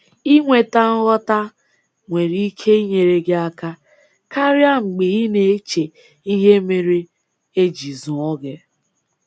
Inweta nghọta nwere ike inyere gị aka karịa mgbe ị na-eche ihe mere e ji zụọ gị